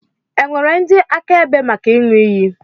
È nwere ndị akaebe maka ịṅụ iyi?